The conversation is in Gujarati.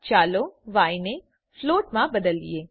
ચાલો ય ને ફ્લોટ માં બદલીએ